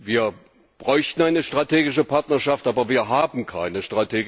Wir bräuchten eine strategische Partnerschaft, aber wir haben keine.